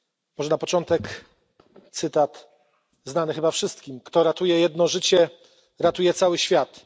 Może na początek cytat znany chyba wszystkim Kto ratuje jedno życie, ratuje cały świat.